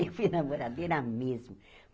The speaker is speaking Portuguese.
E fui namoradeira mesmo.